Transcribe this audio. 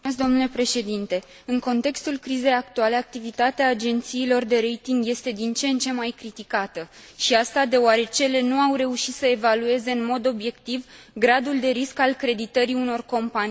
În contextul crizei actuale, activitatea agențiilor de rating este din ce în ce mai criticată și asta deoarece ele nu au reușit să evalueze în mod obiectiv gradul de risc al creditării unor companii și chiar state.